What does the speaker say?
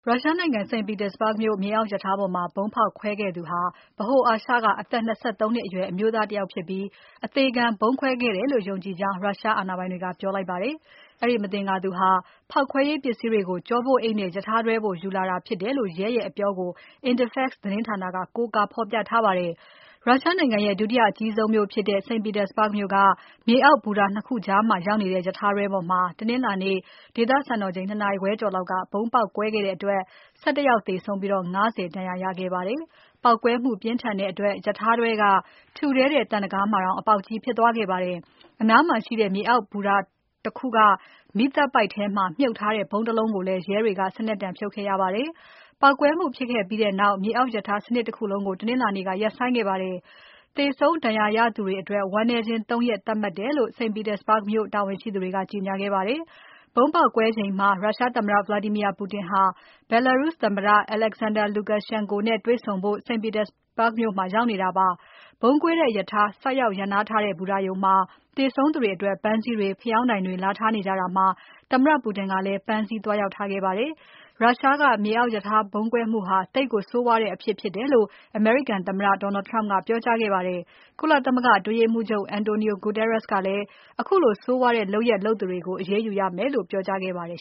ရုရှားနိုင်ငံ St. Petersburg မြေအောက်ရထားပေါ်မှာ ဗုံးဖောက်ခွဲခဲ့သူဟာ ဗဟိုအာရှက အသက် ၂၃ နှစ်အရွယ် အမျိုးသားတယောက်ဖြစ်ပြီး၊ အသေခံဗုံးခွဲခဲ့တယ်လို့ ယုံကြည်ကြောင်း Russia အာဏာပိုင်တွေက ပြောလိုက်ပါတယ်။ အဲဒီမသင်္ကာသူဟာ ဖောက်ခွဲရေးပစ္စည်းတွေကို ကျောပိုးအိတ်နဲ့ ရထားတွဲပေါ် ယူလာတာဖြစ်တယ်လို့ ရဲရဲ့အပြောကို Interfax သတင်းဌာနက ကိုးကားဖော်ပြပါတယ်။ ရုရှားနိုင်ငံရဲ့ ဒုတိယအကြီးဆုံးမြို့ဖြစ်တဲ့ St. Petersburg မြို့က မြေအောက်ဘူတာ ၂ ခုကြားမှာရောက်နေတဲ့ ရထားတွဲပေါ်မှာ တနင်္လာနေ့ ဒေသစံတော်ချိန် ၂ နာရီခွဲကျော်လောက်က ဗုံးပေါက်ကွဲခဲ့တဲ့အတွက် ၁၁ ယောက်သေဆုံးပြီး ၅၀ ဒဏ်ရာ ရသွားခဲ့ပါတယ်။ ပေါက်ကွဲမှုပြင်းထန်တဲ့အတွက် ရထားတွဲက ထူထဲတဲ့သံတံခါးမှာ အပေါက်ကြီးတောင်ဖြစ်သွားခဲ့ပါတယ်။ အနားမှာရှိတဲ့ နောက်မြေအောက်ဘူတာတခုက မီးသတ်ပိုက်ထဲမှာ မြှုပ်ထားတဲ့ဗုံးတလုံးကိုလည်း ရဲတွေက စနက်တံဖြုတ်ခဲ့ရပါတယ်။ ပေါက်ကွဲမှုဖြစ်ခဲ့ပြီးနောက် မြေအောက်ရထားစနစ်တခုလုံးကို တနင်္လာနေ့က ရပ်ဆိုင်းခဲ့ပါတယ်။ သေဆုံးဒဏ်ရာရသူတွေ အတွက် ဝမ်းနည်းခြင်း ၃ ရက်သတ်မှတ်တယ်လို့ St. Petersburg မြို့တာဝန်ရှိသူတွေက ကြေညာခဲ့ပါတယ်။ ဗုံးပေါက်ကွဲချိန်က ရုရှားသမ္မတ Vladimir Putin ဟာ Belarus သမ္မတ Alexander Lukashenko နဲ့တွေ့ဆုံဖို့ St. Petersburg မြို့မှာရောက်နေတာပါ။ ဗုံးကွဲတဲ့ရထား ဆိုက်ရောက်ရပ်ထားတဲ့ ဘူတာရုံမှာ သေဆုံးသူတွေအတွက် ပန်းစည်းတွေ ဖယောင်းတိုင်တွေလာထားနေကြတာမှာ သမ္မတ Putin လည်းပန်းစည်းသွားရောက်ထားခဲ့ပါတယ်။ ရုရှားကမြေအောက်ရထားဗုံးကွဲမှုဟာ သိပ်ကိုဆိုးဝါးတဲ့အဖြစ်ဖြစ်တယ်လို့ အမေရိကန်သမ္မတ Trump ကပြောကြားခဲ့ပါတယ်။ ကုလသမဂ္ဂအတွင်းရေးမှူးချုပ် Antonio Guterres ကလည်း ခုလိုဆိုးဝါးတဲ့လုပ်ရပ် လုပ်သူတွေကို အရေးယူရမယ်လို့ ပြောကြားခဲ့ပါတယ်